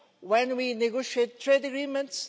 when we negotiate trade agreements